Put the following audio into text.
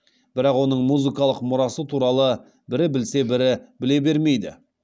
бірақ оның музыкалық мұрасы туралы бірі білсе бірі біле бермейді